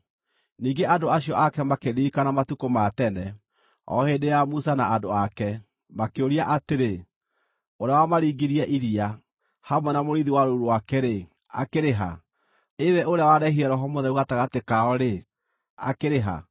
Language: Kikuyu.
Ningĩ andũ acio ake makĩririkana matukũ ma tene, o hĩndĩ ya Musa na andũ ake, makĩũria atĩrĩ: Ũrĩa wamaringirie iria, hamwe na mũrĩithi wa rũũru rwake-rĩ, akĩrĩ ha? Ĩ we ũrĩa wareehire Roho Mũtheru gatagatĩ kao-rĩ, akĩrĩ ha?